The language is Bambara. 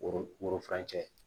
Worofurancɛ